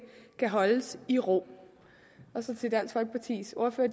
kan holdes i ro til dansk folkepartis ordfører